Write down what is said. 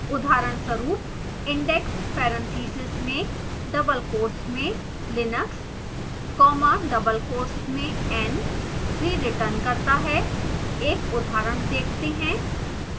उदाहरणस्वरूप index parentheses में double quotes में linux comma double quotes में n 3 returns करता है एक उदाहरण देखते हैं